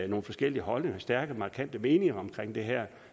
nogle forskellige holdninger stærke markante meninger om det her